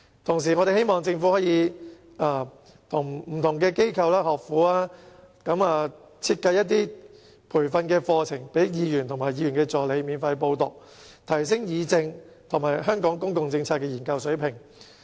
同時，我們希望政府可以與不同機構和學府設計培訓課程予區議員及其助理免費報讀，以提升議政和香港公共政策研究的水平。